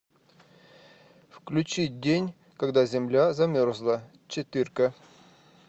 включи день когда земля замерзла четырка